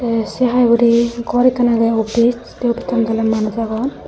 tey se haai hurey gor ekkan agey office tey offissano toley manuj agon.